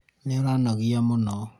nĩũranogia mũno